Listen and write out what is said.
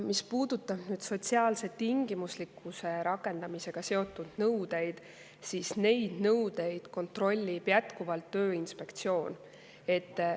Mis puudutab sotsiaalse tingimuslikkuse rakendamisega seotud nõudeid, siis neid nõudeid kontrollib jätkuvalt Tööinspektsioon.